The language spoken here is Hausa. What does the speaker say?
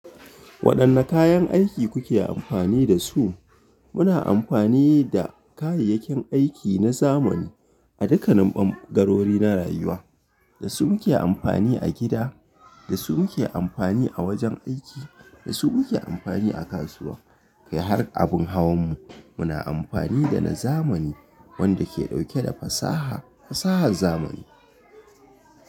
Waɗanne kayan aiki kuke amfani da su? Muna amfani da kayayyakin aiki na zamani a dukkanin ɓangarori na rayuwa. Da su muke amfani a gida, da su muke amfani a wajen aiki, da su muke amfani a kasuwa. Kai har abin hawan mu muna amfani da na zamani wanda ke ɗauke da fasaha fasahar zamani.